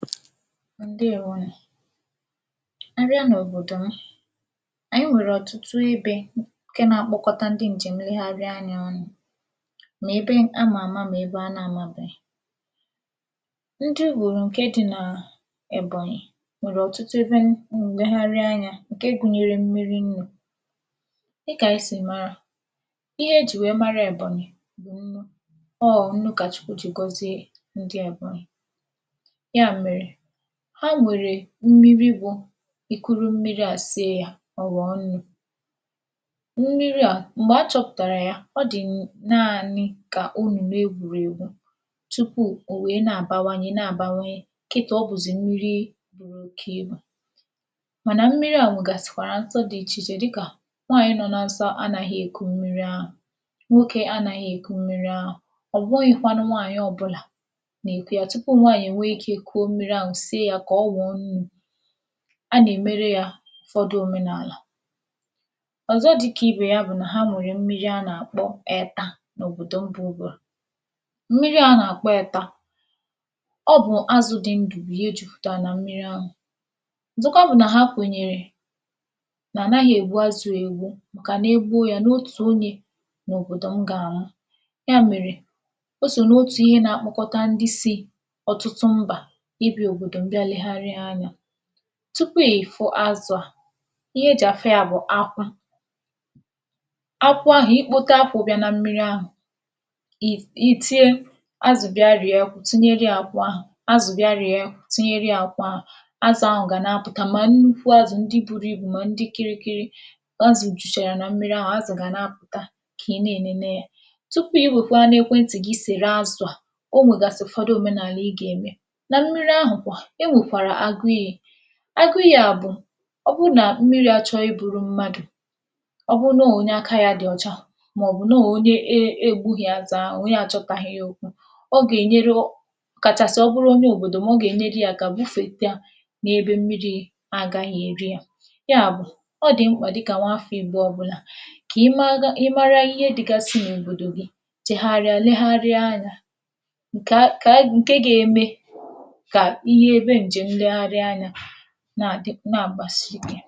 ǹdèwo nụ̀. ịbịa n’òbòdo, anyị nwẹ̀rè ọ̀tụtụ ebē, ǹke na akpọkọta ndị ǹjèm ihèri anyị ọnụ̄, mà ebe a mà àma, mà ebe a mà àma, mà ebe a na mabèghì. ndị ghòm, ǹkẹ dị nà Èbọ̀nyị̀ nwèrè ọ̀tụtụ ẹbẹ nnẹgharị anyā, ǹke gunyere erimeri nrī. dịkà anyị sì mara, ihe e jì wẹ mara Èbọ̀nyị bụ̀ nnụ. ọ̀ nnụ kà chụkwụ jì gọzie ndị Èbọ̀nyị. yà mèrè, ha nwèrè mmiri bụ e kuru mmiri à sie yā, ọ̀ ghọ̀ọ nnu. mmiri à, m̀gbè a chọ̄pụ̀tàrà ya, ọ dị naanị kà omùme egwùregwu, tupù ò wèe nà àbawanye nà àbawanye, kịta, ọ bụ̀zị mmiri buru oke ibù. mànà mmiri à nwègàsị̀rị afụfụ dị̄ ichè ichè, dịkà nwaànyị nọ nan sọ anaghị èku mmiri ahụ̀. nwoke anaghi èku yā. ọ̀ bụghị̄kwanụ nwaànyị ọbụlà nà èku ya. tupù nwanyị̀ e nwe ikē sie ya kà ọ ghọ̀ọ nnū, a gà èmere yā ụ̀fọdụ òmenàlà. ọ̀zọ dịkà ibè ya bụ̀ nà ha nwèrè mmiri a nà àkpọ ẹ̀ta, n’òbòdò mbā ugwu à. mmiri a nà àkpọ ẹ̀ta, ọ bụ̀ azụ̄ dị ndụ̀ bụ̀ ihe jupùtàrà na mmirī ahụ̀. ọ̀zọkwa bụ̀ nà ha kwènyèrè nà ànaghị̄ ègbu azụ̄ à ègbu, màkà na e gbuo ya, n’otù onye n’òbòdò ahụ̀ gà ànwụ. yà mèrè, o sò n’otù ihē na akpọkọta ndị sī ọ̀tụtụ mbà, ị bịā òbòdò nlẹgharị anyā. tupù ị̀ fụ azụ̄ à, ihe e jì àfụ yā bụ̀ akwụ. akwụ ahụ̀, I kpote akwụ ahụ̀ ga na mmiri, ì tie ‘azụ̀ bị̀a rìe akwụ’, tinyerē ya akwụ ahụ̀, ‘azụ̀ bị̀a rìe’, tinyerē ya akwụ ahụ̀. azụ̄